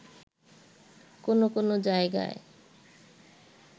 কোনো কোনো জায়গায়